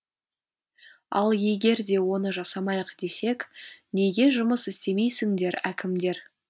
ал егер де оны жасамайық десек неге жұмыс істемейсіңдер әкімдер